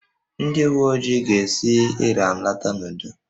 Ndị uwe ojii ga-esi Ịran lọta n'udo